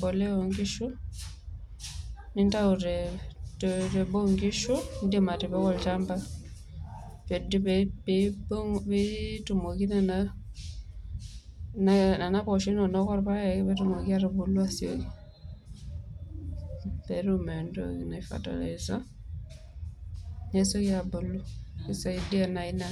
boliei oonkishu nintao tee boo onkishu niindim atipika olchamba peetumoki nena posho inono o ilpayek aatubulu aisioki peetum entoki naji fertiliser peesioki aabuku eisaidia naa ina.